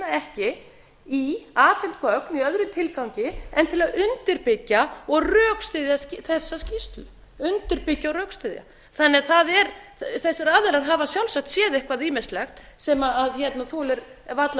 ekki í afhent gögn í öðrum tilgangi en til að undirbyggja og rökstyðja þessa skýrslu undirbyggja og rökstyðja þessir aðilar hafa sjálfsagt séð eitthvað ýmislegt sem þolir varla